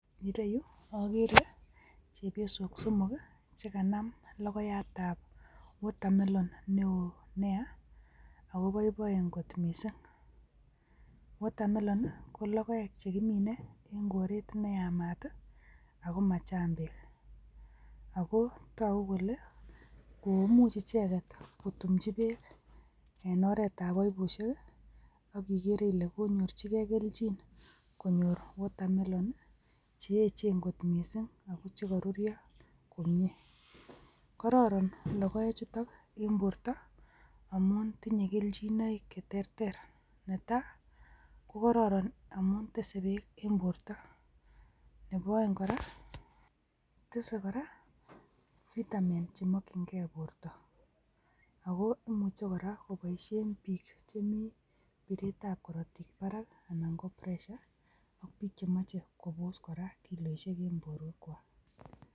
Ireyuu okere chepyosok somok kii chekanam lokoiyat ab water melon neo nia ako boiboien kot missing, water melon nii ko lokoek chekimine en koret neyamat tii ako machang beek ako toku kole ko imuch icheket kotumchi beek en oret ab baibushek kii ak ikere ile konyorchi gee keljin konyor water melon che echen kot missing ako chekorurio komie, kororon lokoek chutok en borto amun tinye keljinoik cheterter netai ko kororon amun tese beek en borto nebo oeng koraa tese koraa vitamin chemokin gee borto, ako imuche koraa koboishen bik chemii biret ab korotik barak anan ko pressure ak bik koraa chemoche kobos kiloishek en borwek kwak.